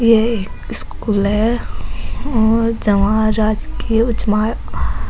ये एक स्कूल है और जवाहर राजकीय उच्य मा --